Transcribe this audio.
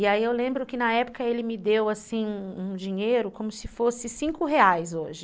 E aí eu lembro que na época ele me deu, assim, um um dinheiro como se fosse cinco reais hoje.